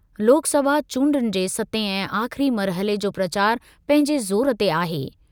लोकसभा चूंडुनि जे सतें ऐं आख़िरी मरहले जो प्रचार पंहिंजे ज़ोर ते आहे।